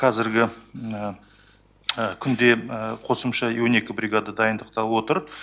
қазіргі күнде қосымша он екі бригада дайындықта отыр